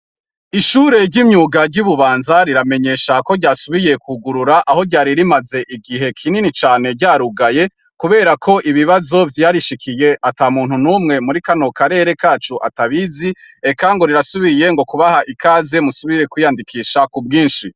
Ishure ry'imyuga ry'ububanza riramenyesha ko ryasubiye kugurura aho ryari rimaze igihe kinini cane ryarugaye, kubera ko ibibazo vyarishikiye ata muntu n'umwe muri kanokarere kacu atabizi eka ngo rirasubiye ngo kubaha ikaze musubire kwiyandikisha ku bwinshi.